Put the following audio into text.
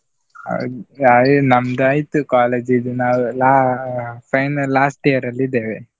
ಹೌದ್ ಅಹ್ ನಮ್ದಾಯ್ತು college ಇದು ನಾವು ಲಾ~ ಅಹ್ final last year ಅಲ್ಲಿ ಇದ್ದೇವೆ.